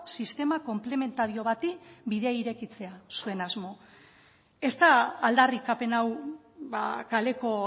sistema konplementario bati bidea irekitzea zuen asmo ez da aldarrikapen hau kaleko